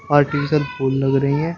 Artificial फूल लग रही है।